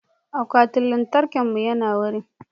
akwatin lantarkin mu yana wari